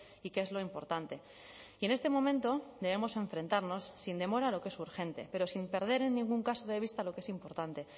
y qué es lo importante y en este momento debemos enfrentarnos sin demora a lo que es urgente pero sin perder en ningún caso de vista lo que es importante